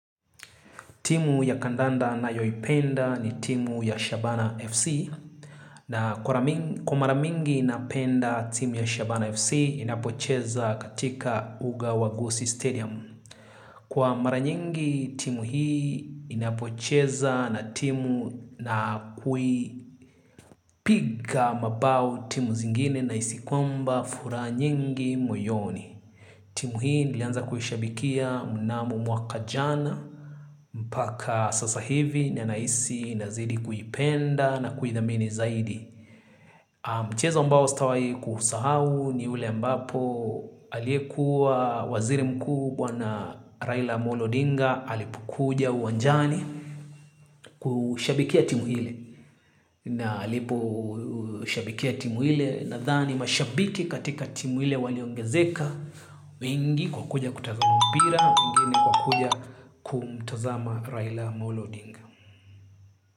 Timu ya kandanda nayoipenda ni timu ya Shabana FC. Na kura kwa mara mingi napenda timu ya Shabana FC inapocheza katika uga wa Goose Stadium. Kwa mara nyingi timu hii inapocheza na timu na kui piga mabao timu zingine nahisi kwamba furaha nyingi moyoni. Timu hii nilianza kuhishabikia mnamo mwaka jana. Mpaka sasa hivi nanahisi nazidi kuipenda na kuithamini zaidi. Mchezo ambao sitawahi kusahau ni ule ambapo aliyekuwa waziri mkubwa na Raila Amolo odinga alipokuja uwanjani kushabikia timu hile. Na alipu shabikia timu hile. Nathani mashabiki katika timu hile waliongezeka mingi kwa kuja kutazama mpira, mingi kwa kuja kumtazama Raila Amolo Ondinga.